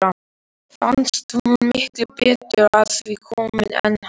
Fannst hún miklu betur að því komin en hann.